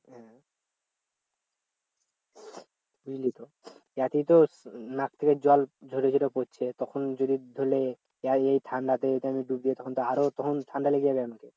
বুঝলি তো একেতো নাক থেকে জল ঝরে ঝরে পড়ছে তখন যদি ধরলে এই ঠান্ডাতে এই time এ ডুব দিয়ে তখন তো আরও তখন ঠান্ডা লেগে যাবে